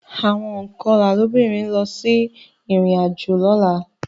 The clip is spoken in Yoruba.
Àwọn ònkọlà lóbìnrin ń lọ sí ìrìnàjò lọ́la